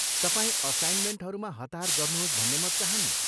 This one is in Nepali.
तपाईँ असाइनमेन्टहरूमा हतार गर्नुहोस् भन्ने म चहान्नँ।